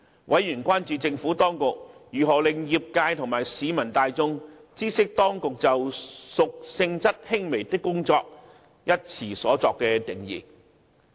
委員關注政府當局如何令業界及市民大眾知悉當局就"屬性質輕微的工作"一詞所作的定義。